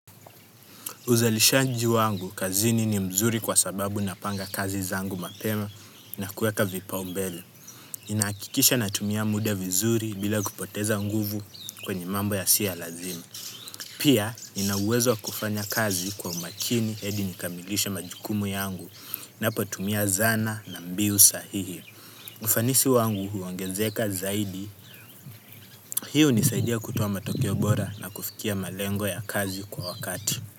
Uzalishanji wangu kazini ni mzuri kwa sababu napanga kazi zangu mapema, na kueka vipau mbele. Ninahakikisha natumia muda vizuri, bila kupoteza nguvu kwenye mambo ya siyo ya lazima. Pia, nina uwezo wa kufanya kazi kwa umakini hadi nikamilishe majukumu yangu, napotumia zana na mbiu sahihi. Ufanisi wangu huwongezeka zaidi. Hii hunisaidia kutowa matokio bora na kufikia malengo ya kazi kwa wakati.